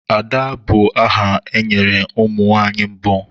Ada bụ aha e nyere ụmụ nwanyị mbụ.